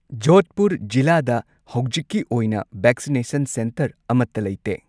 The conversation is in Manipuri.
ꯖꯣꯙꯄꯨꯔ ꯖꯤꯂꯥꯗ ꯍꯧꯖꯤꯛꯀꯤ ꯑꯣꯏꯅ ꯚꯦꯛꯁꯤꯅꯦꯁꯟ ꯁꯦꯟꯇꯔ ꯑꯃꯇ ꯂꯩꯇꯦ꯫